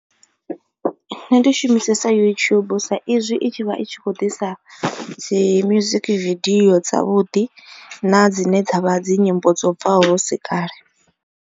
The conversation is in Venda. Nṋe ndi shumisesa YouTube sa izwi i tshi vha i tshi khou ḓisa dzi music video dza vhuḓi na dzine dzavha dzi nyimbo dzo bvaho husi kale.